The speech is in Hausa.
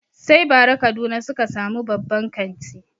Sai bara kaduna suka sami babban kanti